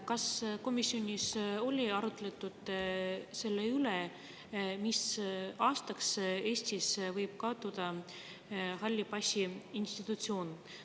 Kas komisjonis oli arutelu selle üle, mis aastaks võib Eestis kaduda halli passi institutsioon?